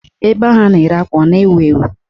Ebe ahụ a na-ere akwa a na-ewu ewu?